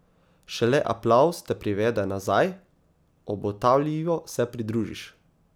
Šele aplavz te privede nazaj, obotavljivo se pridružiš.